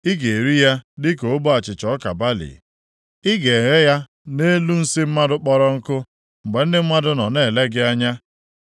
Ị ga-eri ya dịka ogbe achịcha ọka balị, ị ga-eghe ya nʼelu nsị mmadụ kpọrọ nkụ mgbe ndị mmadụ nọ na-ele gị anya.”